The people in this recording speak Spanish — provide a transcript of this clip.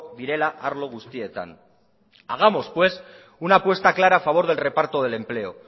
direla arlo guztietan hagamos pues una puesta clara a favor del reparto del empleo